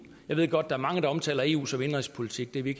jeg ved godt er mange der omtaler eu som indenrigspolitik det er vi